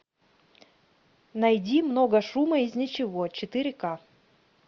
найди много шума из ничего четыре ка